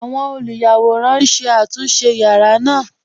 Awọn olúyàwòran n ṣé àtúnṣe yàra naa.